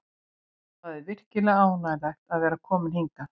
Það er virkilega ánægjulegt að vera kominn hingað.